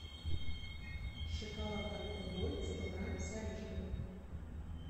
шоколад альпен гольд сто грамм с орешками